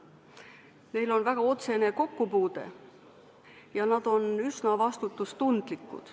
Neil on väga otsene kokkupuude ja nad on üsna vastutustundlikud.